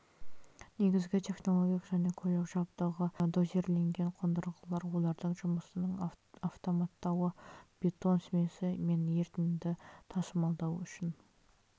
негізгі технологиялық және көлік жабдығы дозирленген қондырғылар олардың жұмысының автоматтауы бетон смесі мен ерітінді тасымалдауы үшін